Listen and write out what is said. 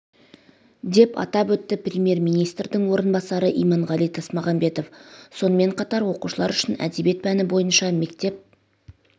деп атап өтті премьер-министрдің орынбасары иманғали тасмағамбетов сонымен қатар оқушылар үшін әдебиет пәні бойынша мектеп